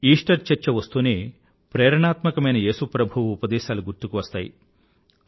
Easter చర్చ వస్తూనే ప్రేరణాత్మకమైన యేసు ప్రభువు ఉపదేశాలు గుర్తుకు వస్తాయి